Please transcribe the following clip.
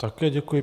Také děkuji.